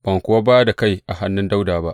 Ban kuwa ba da kai a hannun Dawuda ba.